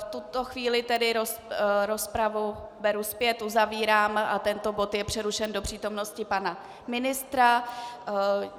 V tuto chvíli tedy rozpravu beru zpět, uzavírám a tento bod je přerušen do přítomnosti pana ministra.